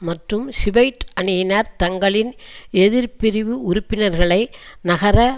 மற்றும் ஷிபையைட் அணியினர் தங்களின் எதிர்பிரிவு உறுப்பினர்களை நகர